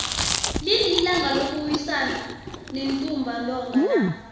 lini ilanga lokuwisana nentumba ntonga na